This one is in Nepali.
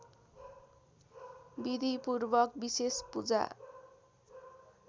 विधिपूर्वक विशेष पूजा